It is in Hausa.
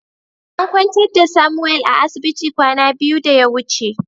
An kwantar da "Samuel" a asibiti kwana biyu da ya wuce.